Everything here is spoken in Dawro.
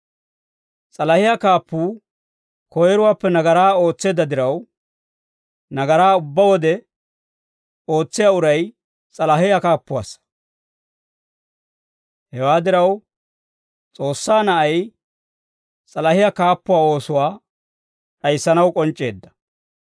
S'alahiyaa kaappuu koyiruwaappe nagaraa ootseedda diraw, nagaraa ubbaa wode ootsiyaa uray s'alahiyaa kaappuwaassa; hewaa diraw, S'oossaa Na'ay s'alahiyaa kaappuwaa oosuwaa d'ayissanaw k'onc'c'eedda.